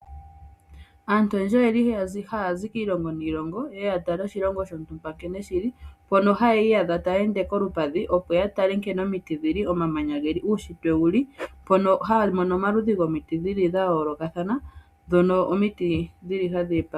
Aantu oyendji oyeli haazi kiilongo niilongo ye yatale oshilongo shontumba nkene shili, mpono hayi yadha tayeende kolupadhi opo yatale nkene omiti dhili, omamanya geli , uushitwe wuli, mpono haamono omaludhi gomiti dhili dha yolokathana dhono omiti dhili hadhi.